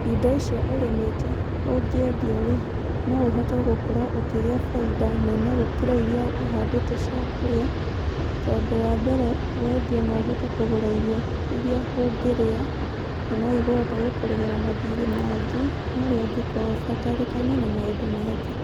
Indo icio ũrimĩte ũngĩendia rĩ, no ũhote gũkorwo ũkĩgĩa bainda nene gũkĩra iria ũhandĩte cia kũrĩa, tondũ wa mbere, wendia na ũhote kugũra irio iria ũngĩrĩa, na no ikũhota gũkũrĩhĩra mathirĩ mangĩ marĩa ũngĩkorwo ũbatarĩkaine na maũndũ mangĩ.